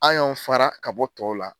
An y'anw fara ka bɔ tɔw la